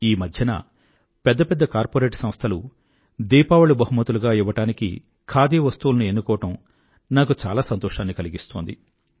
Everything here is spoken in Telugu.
ఈ మధ్యన పెద్ద పెద్ద కార్పొరేట్ సంస్థలు దీపావళి బహుమతులుగా ఇవ్వడానికి ఖాదీ వస్తువులని ఎన్నుకోవడం నాకు చాలా సంతోషాన్ని కలిగిస్తోంది